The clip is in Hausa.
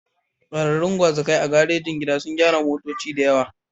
Ƙwararrun gwazakai a garejin gida sun gyara motoci da yawa.